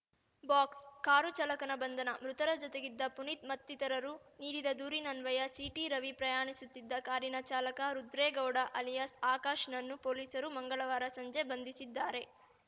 box car ಚಾಲಕನ ಬಂಧನ ಮೃತರ ಜತೆಗಿದ್ದ ಪುನೀತ್‌ ಮತ್ತಿತರರು ನೀಡಿದ ದೂರಿನನ್ವಯ ಸಿಟಿರವಿ ಪ್ರಯಾಣಿಸುತ್ತಿದ್ದ ಕಾರಿನ ಚಾಲಕ ರುದ್ರೇಗೌಡ ಅಲಿಯಾಸ್‌ ಆಕಾಶನನ್ನು ಪೊಲೀಸರು ಮಂಗಳವಾರ ಸಂಜೆ ಬಂಧಿಸಿದ್ದಾರೆ